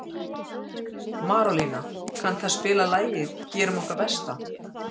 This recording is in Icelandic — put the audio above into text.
Marólína, kanntu að spila lagið „Gerum okkar besta“?